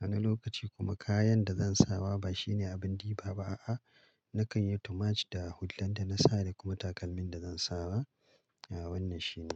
Wani lokaci kuma kayan da zan sawa ba shine abin ɗiba ba a'a. Nakan yi too much da hullar da na sare kuma takalmin da zan sawa. Wannan shi ne.